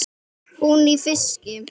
Hún í fiski.